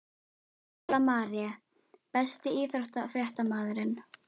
Pála Marie Besti íþróttafréttamaðurinn?